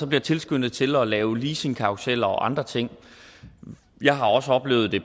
bliver tilskyndet til at lave leasingkarruseller og andre ting jeg har også oplevet det